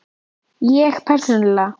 Ég persónulega?